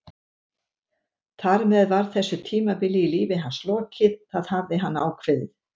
Þar með var þessu tímabili í lífi hans lokið, það hafði hann ákveðið.